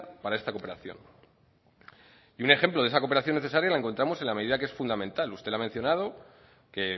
para esta cooperación y un ejemplo de esa cooperación necesaria la encontramos en la medida que es fundamental usted la ha mencionado que